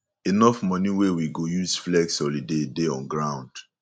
enough money wey we go use flex holiday dey on ground